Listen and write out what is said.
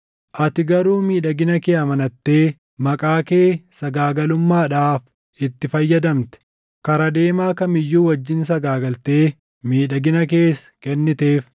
“ ‘Ati garuu miidhagina kee amanattee maqaa kee sagaagalummaadhaaf itti fayyadamte. Kara deemaa kam iyyuu wajjin sagaagaltee miidhagina kees kenniteef.